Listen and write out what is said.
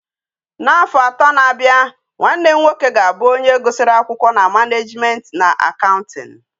Na afo ato na abia, nwa nne m nwoke ga abu onye gusiri akwukwo na management na accounting